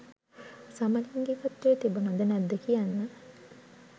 සමලිංගිකත්‍වය තිබුණද නැද්ද කියන්න